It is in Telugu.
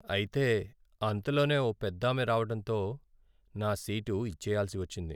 అయితే అంతలోనే ఓ పెద్దామె రావడంతో నా సీటు ఇచ్చెయ్యాల్సి వచ్చింది.